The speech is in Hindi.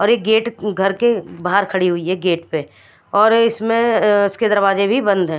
और एक गेट घर के बहार खड़ी हुई है गेट पे और इसमें इसके दरवाज़े भी बंद हैं।